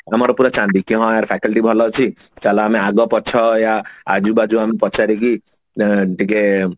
ଆମର ପୁରା ଚାନ୍ଦି କାଇଁ ନା ଆମର faculty ଭଲ ଅଛି ଚାଲ ଆମେ ଆଗ ପଛ ୟା ଆଜୁ ବାଯୁ ଆମେ ପଚାରିକି ଏଁ ଟିକେ